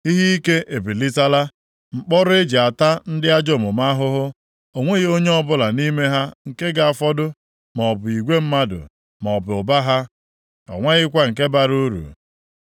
Ihe ike ebilitala, mkpọrọ eji ata ndị ajọ omume ahụhụ. O nweghị onye ọbụla nʼime ha nke ga-afọdụ, maọbụ igwe mmadụ maọbụ ụba ha, o nweghịkwa nke bara uru.